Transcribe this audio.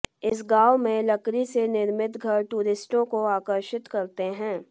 इस गांव में लकड़ी से निर्मित घर टूरिस्टों को आकर्षित करते हैं